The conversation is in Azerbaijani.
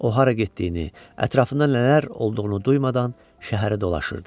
O hara getdiyini, ətrafında nələr olduğunu duymadan şəhəri dolaşırdı.